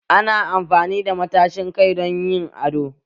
Ana amfani da matashin kai don yin ado